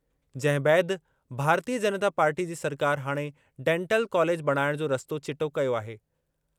जंहिं बैदि भारतीय जनता पार्टी जी सरकार हाणे डेंटल कॉलेज बणाइणु जो रस्तो चिटो कयो आहे।